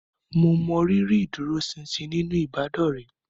Mo mọrírì ìdúróṣinṣin nínú ìbádọ́rẹ̀ẹ́